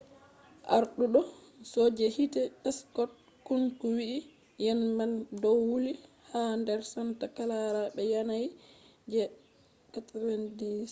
arduɗo soje hite scott kouns wi'i ‘’yende man ɗon wuli ha nder santa clara be yanayi je 90